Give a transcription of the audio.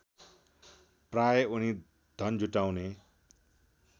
प्राय उनी धन जुटाउने